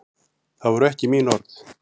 Það voru ekki mín orð.